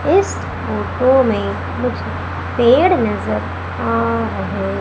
इस फोटो में मुझे पेड़ नजर आ रहे--